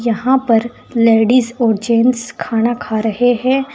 यहां पर लेडीज़ और जेंट्स खाना खा रहे हैं।